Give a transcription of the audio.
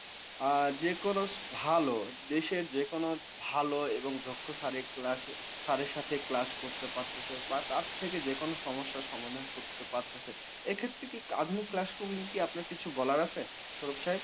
আ যেকোনো ভালো দেশের যেকোনো ভালো এবং দক্ষ sir class র sir class করতে পারতেছে বা তার থেকে যেকোনো সমস্যার সমাধান করতে পারতেছে। এক্ষেত্রে কি আধুনিক classroom নিয়ে কি আপনার কিছু বলার আছে? সরুপ সাহেব?